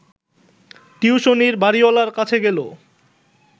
টিউশনির বাড়িওয়ালার কাছে গেল